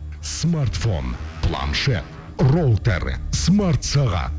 смартфон планшет роутер смартсағат